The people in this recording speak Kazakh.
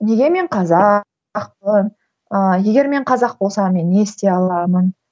неге мен қазақпын ыыы егер мен қазақ болсам мен не істей аламын